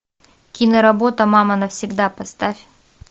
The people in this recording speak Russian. киноработа мама навсегда поставь